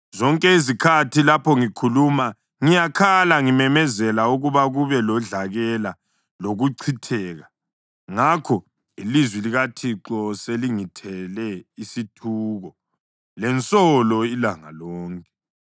Zonke izikhathi lapho ngikhuluma, ngiyakhala ngimemezela ukuba kube lodlakela lokuchitheka. Ngakho ilizwi likaThixo selingilethele isithuko lensolo ilanga lonke.